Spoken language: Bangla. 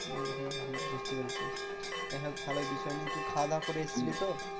হম হম হম বুঝতে পেরেছি। হয় হোক ভালোই বিষয় নিয়ে তুই খাওয়া দাওয়া করে এসছিলি তো?